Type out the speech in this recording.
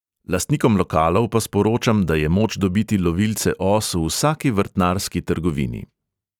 Lastnikom lokalov pa sporočam, da je moč dobiti lovilce os v vsaki vrtnarski trgovini.